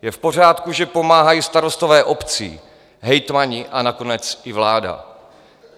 Je v pořádku, že pomáhají starostové obcí, hejtmani a nakonec i vláda.